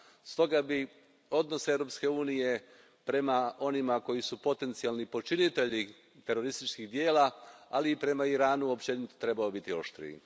Stoga bi odnos Europske unije prema onima koji su potencijalni počinitelji terorističkih djela, ali i prema Iranu, općenito trebao biti oštriji.